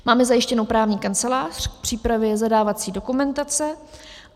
Máme zajištěnu právní kancelář k přípravě zadávací dokumentace.